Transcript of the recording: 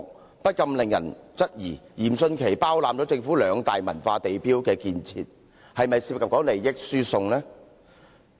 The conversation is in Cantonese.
這不禁令人質疑，嚴迅奇包攬政府兩大文化地標的建設項目，當中是否涉及利益輸送？